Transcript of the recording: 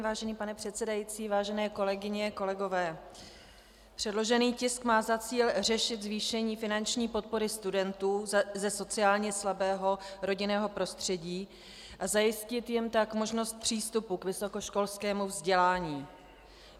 Vážený pane předsedající, vážené kolegyně, kolegové, předložený tisk má za cíl řešit zvýšení finanční podpory studentů ze sociálně slabého rodinného prostředí a zajistit jim tak možnost přístupu k vysokoškolskému vzdělání.